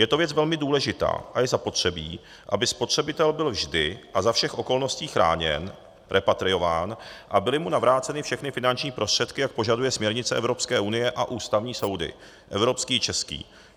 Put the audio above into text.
Je to věc velmi důležitá a je zapotřebí, aby spotřebitel byl vždy a za všech okolností chráněn, repatriován a byly mu navráceny všechny finanční prostředky, jak požaduje směrnice Evropské unie a ústavní soudy - evropský i český.